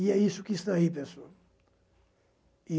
E é isso que está aí, pessoal.